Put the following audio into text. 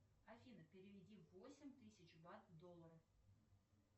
афина переведи восемь тысяч бат в доллары